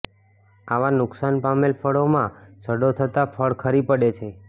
આવા નુકસાન પામેલ ફળોમાં સડો થતા ફળ ખરી પડે છે